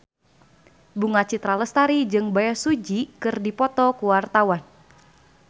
Bunga Citra Lestari jeung Bae Su Ji keur dipoto ku wartawan